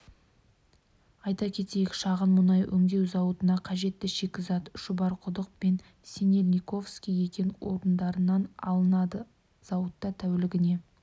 казинрусс-трейдинг директоры мұрат долгиевтің айтуынша мұнай өңдеу зауыты барлық инфрақұрылыммен жабдықталған мұнда шикізатты дайын өнімді тасымалдауға